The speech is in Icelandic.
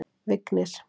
Vignir